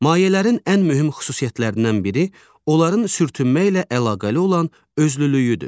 Mayələrin ən mühüm xüsusiyyətlərindən biri onların sürtünmə ilə əlaqəli olan özlülüyüdür.